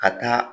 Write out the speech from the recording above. Ka taa